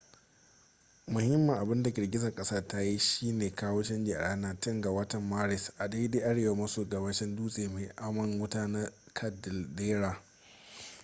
muhimmin abinda girgizar kasar ta yi shine kawo canji a ranar 10 ga watan maris a daidai arewa maso gabashin dutse mai aman wuta na caldera